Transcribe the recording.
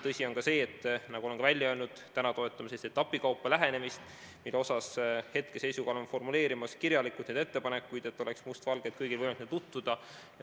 Tõsi on see, nagu ma olen ka välja öelnud, et praegu me toetame etapikaupa lähenemist, hetkeseisuga oleme kirjalikult formuleerimas neid ettepanekuid, et kõigil oleks must valgel võimalik nendega tutvuda.